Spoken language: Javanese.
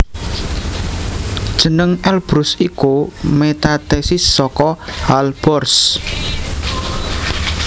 Jeneng Elbrus iku metathesis saka Alborz